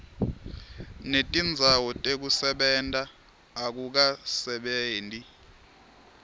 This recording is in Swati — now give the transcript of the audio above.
netindzawo tekusebenta akukasebenti